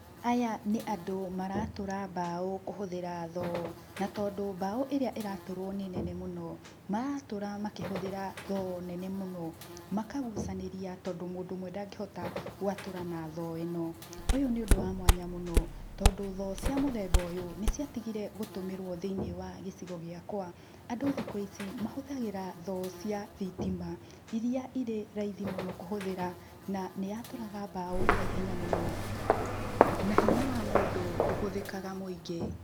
Aya nĩ andũ maratũra mbaũ kũhũthĩra thoo na tondũ mbaũ ĩrĩa ĩratũrwo nĩ nene mũno maratũra makĩhũthĩra thoo nene mũno, makagucanĩria tondũ mũndũ ũmwe ndangĩhota gwatũra na thoo ĩno. ũyũ nĩ ũndũ wa mwanya mũno tondũ thoo cia mũthemba ũyũ nĩ ciatigire kũhũthĩrwo thĩinĩ wa gĩcigo gĩakwa, andũ thikũ ici mahũthagĩra thoo cia thitima iria irĩ raithi mũno kũhũthĩra na nĩ ya tũraga mbaũ na ihenya mũno, na hinya wa mũndũ ndũhũthĩkaga mũingĩ.